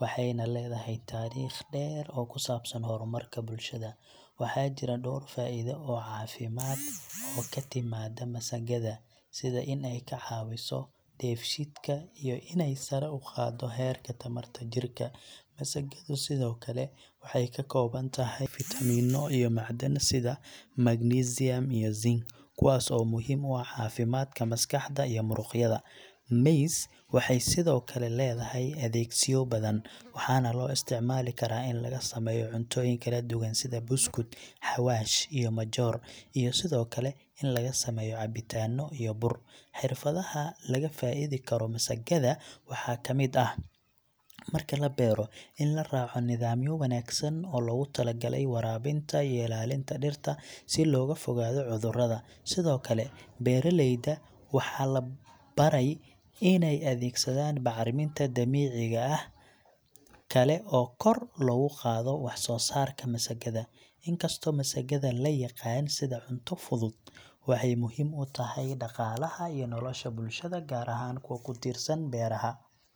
waxayna leedahay taariikh dheer oo ku saabsan horumarka bulshada. Waxaa jira dhowr faa’iido oo caafimaad oo ka timaadda masagada, sida in ay ka caawiso dheefshiidka iyo inay sare u qaaddo heerka tamarta jirka. Masagadu sidoo kale waxay ka kooban tahay fiitamiino iyo macdan, sida magnesium iyo zinc, kuwaas oo muhiim u ah caafimaadka maskaxda iyo muruqyada. Maize waxay sidoo kale leedahay adeegsiyo badan, waxaana loo isticmaali karaa in laga sameeyo cuntooyin kala duwan sida buskud, xawaash, iyo majoor, iyo sidoo kale in laga sameeyo cabitaano iyo bur. Xirfadaha laga faa’iidi karo masagada waxaa ka mid ah, marka la beero, in la raaco nidaamyo wanaagsan oo loogu talagalay waraabinta iyo ilaalinta dhirta si looga fogaado cudurrada. Sidoo kale, beeraleyda waxaa la baray inay adeegsadaan bacriminta dabiiciga ah kale oo kor loogu qaado waxsoosaarka masagada. Inkastoo masagada la yaqaan sida cunto fudud, waxay muhiim u tahay dhaqaalaha iyo nolosha bulshada, gaar ahaan kuwa ku tiirsan beeraha.